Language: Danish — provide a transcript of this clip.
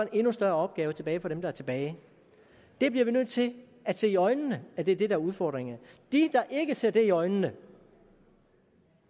en endnu større opgave tilbage for dem der er tilbage det bliver vi nødt til at se i øjnene er det der er udfordringerne de der ikke ser det i øjnene